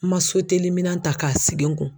N man soteliminan ta k'a sigi n kun.